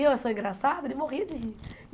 E eu sou engraçada, ele morria de rir.